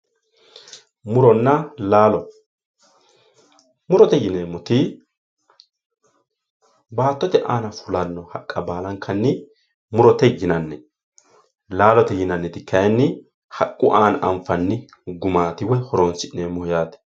muronna laalo murote yineemoti baattote aana fulanno haqqa balankanni murote yinanni laalote yinaniti kaayiinni haqqu aana anfanni gumaati woy horonsi'neemoho yaate.